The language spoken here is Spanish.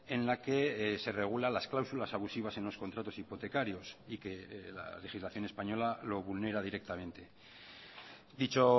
en la que se regula las cláusulas abusivas en los contratos hipotecarios y que la legislación española lo vulnera directamente dicho